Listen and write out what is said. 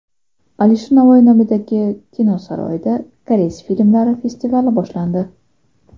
Alisher Navoiy nomidagi kino saroyida koreys filmlari festivali boshlandi.